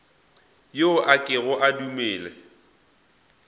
yo a kego a dumele